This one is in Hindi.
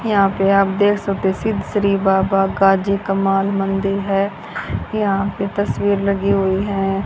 यहां पे आप देख सकते सिद्ध श्री बाबा गाजी कमल मंदिर है यहां पे तस्वीर लगी हुई है।